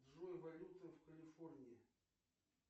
джой валюта в калифорнии